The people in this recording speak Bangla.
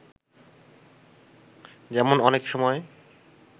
যেমন অনেকসময়